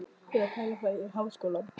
Ég er að pæla í að fara í Háskólann.